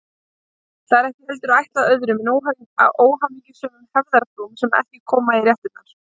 Það er ekki heldur ætlað öðrum en óhamingjusömum hefðarfrúm sem ekki koma í réttirnar.